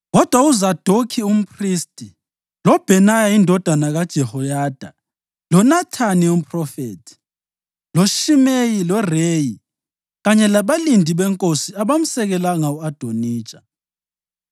Kodwa uZadokhi umphristi, loBhenaya indodana kaJehoyada, loNathani umphrofethi, loShimeyi, loReyi kanye labalindi benkosi abamsekelanga u-Adonija.